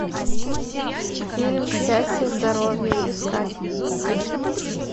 фильм счастье здоровье искать